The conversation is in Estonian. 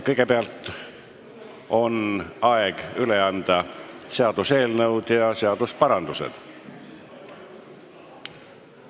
Kõigepealt on aeg üle anda seaduseelnõud ja seadusparandused.